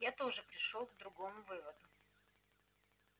я тоже пришёл к другому выводу